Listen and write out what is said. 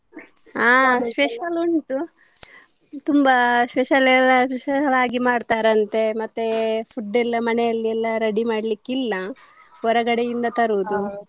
ಆಹ್ special ಉಂಟು ತುಂಬಾ special ಎಲ್ಲಾ special ಲಾಗಿ ಮಾಡ್ತಾರಂತೆ ಮತ್ತೆ food ಎಲ್ಲಾ ಮನೇಲೆಲ್ಲ ready ಮಾಡಲಿಕ್ಕಿಲ್ಲ ಹೊರಗಡೆಯಿಂದ ತರುದು.